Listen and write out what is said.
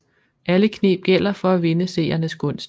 Alle kneb gælder for at vinde seernes gunst